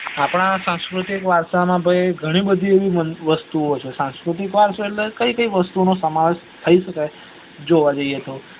આપદા સાંસ્કૃતિક વારસા માં ભાઈ ગણી બધી એવી વસ્તુ છે સાંસ્કૃતિક વરસો એટલે કઇ કઇ વસ્તુ ઓનો સમાવેશ થઇ સકાય જોવા જઈએ તો